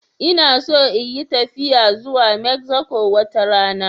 Ina so in yi tafiya zuwa Mexico wata rana.